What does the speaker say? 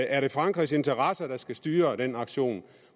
er det frankrigs interesser der skal styre den aktion